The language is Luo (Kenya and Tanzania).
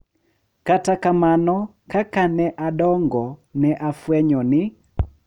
Kata kamano, kaka ne adongo, ne afwenyo ni .